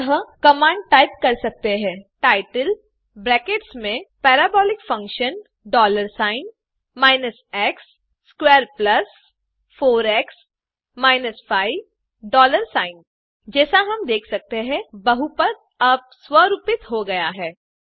अतः command type कर सकते हैं टाइटल ब्रैकेट्स में parabolic function dollar sign minus x squared plus four x minus 5 dollar sign जैसा हम देख सकते हैं बहुपद अब स्वरूपित हो गया है